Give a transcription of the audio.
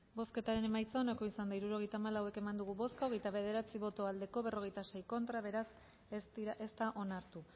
bozketaren emaitza onako izan da hirurogeita hamalau eman dugu bozka hogeita bederatzi boto aldekoa cuarenta y seis contra ondorioz ez da onartu